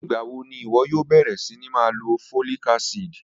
Nigbawo ni iwọ yoo bẹrẹ sini ma lo folic acid?